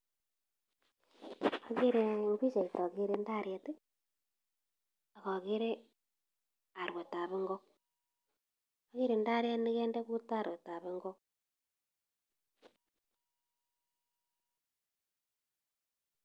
Ogere pichait ogere ndaret ak ogere arwetab ngok. Agere ndaret nekonde kutit arwetab ngok.